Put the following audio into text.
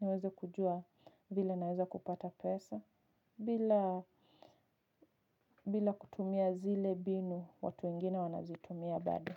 Niweze kujua vile naeza kupata pesa bila bila kutumia zile mbinu watu wengine wanazitumia bado.